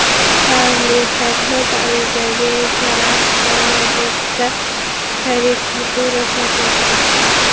Charlie Hebdo Parijdagi teraktlar mavzusida karikatura chop etdi.